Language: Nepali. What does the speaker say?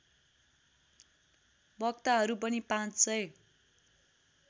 वक्ताहरू पनि ५००